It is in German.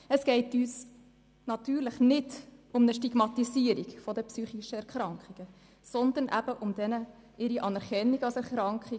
Uns geht es natürlich nicht um eine Stigmatisierung psychischer Erkrankungen, sondern um ihre Anerkennung als Erkrankungen.